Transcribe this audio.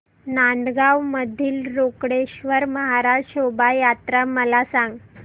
नांदगाव मधील रोकडेश्वर महाराज शोभा यात्रा मला सांग